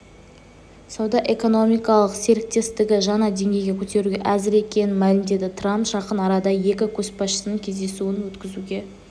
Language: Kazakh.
сауда-экономикалық серіктестікті жаңа деңгейге көтеруге әзір екенін мәлімдеді трамп жақын арада екі көшбасшының кездесуін өткізуге